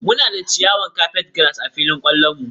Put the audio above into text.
Muna da ciyawar Carpetgrass a filin kwallon mu.